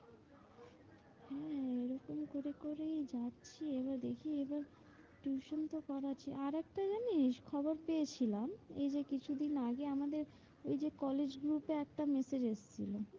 করেই যাচ্ছি এবার দেখি এবার tuition তো করাচ্ছি। আরেকটা জানিস খবর পেয়েছিলাম? এইযে কিছু দিন আগে আমাদের ওইযে college group এ একটা massage এসেছিলো।